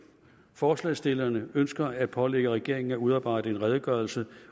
forslagsstillerne ønsker at pålægge regeringen at udarbejde en redegørelse